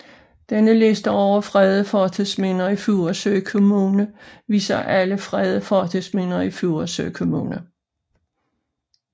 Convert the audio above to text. Denne liste over fredede fortidsminder i Furesø Kommune viser alle fredede fortidsminder i Furesø Kommune